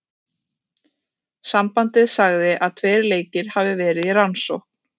Sambandið sagði að tveir leikir hafi verði í rannsókn.